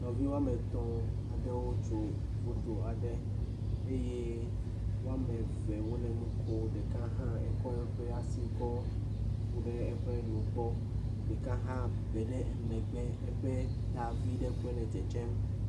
Ɖevi wɔam etɔ̃ aɖewo trs foyo adre eye woame ve wole nu kom. Ɖeka hã ekɔ eƒe asi kɔ ƒo ɖe eƒe nugbɔ. Ɖeka hã be ɖe emegbe eƒe ta vi ɖe koe le dzedzem